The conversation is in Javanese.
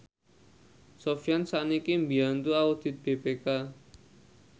Sofyan sakniki mbiyantu audit BPK